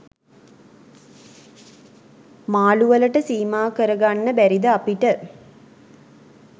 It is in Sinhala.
මාලු වලට සීමා කරගන්න බැරිද අපිට?